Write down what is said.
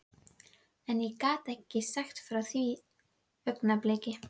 Við fengum þennan fyrir vasadiskóið hans segir Raggi hróðugur.